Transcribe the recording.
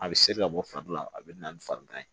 A bɛ seri ka bɔ fari la a bɛ na ni farigan ye